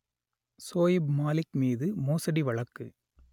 சோயிப் மாலிக் மீது மோசடி வழக்கு